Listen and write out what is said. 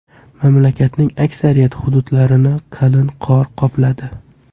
Mamlakatning aksariyat hududlarini qalin qor qopladi.